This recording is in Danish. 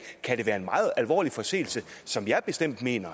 kan det være en meget alvorlig forseelse som jeg bestemt mener